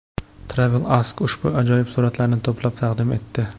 TravelAsk ushbu ajoyib suratlarni to‘plab taqdim etdi .